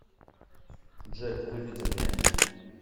джек выведи мне